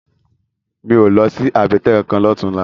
Mi ó lòsi àbètè kánkán lòtúnlá